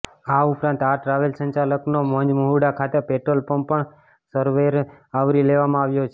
આ ઉપરાંત આ ટ્રાવેલ સંચાલકનો મુંજમહુડા ખાતે પેટ્રોલ પંપ પણ સરવેમાં આવરી લેવામાં આવ્યો છે